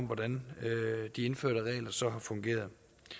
hvordan de indførte regler så har fungeret